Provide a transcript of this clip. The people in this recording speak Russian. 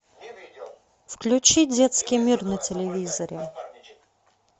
включи детский мир на телевизоре